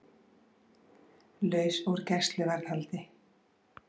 Laus úr gæsluvarðhaldi